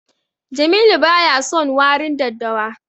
Jamilu baya son warin daddawa.